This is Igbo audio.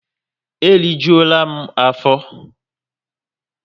E rijuola m afo